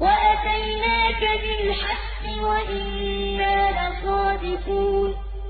وَأَتَيْنَاكَ بِالْحَقِّ وَإِنَّا لَصَادِقُونَ